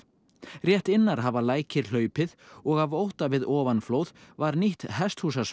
rétt innar hafa lækir hlaupið og af ótta við ofanflóð var nýtt